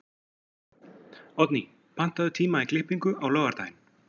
Oddný, pantaðu tíma í klippingu á laugardaginn.